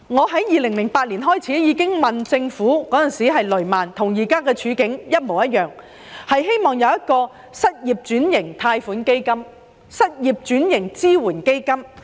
在2008年，發生雷曼事件，當時的情況與現時一模一樣，我當時希望政府設立失業轉型貸款基金、失業轉型支援基金。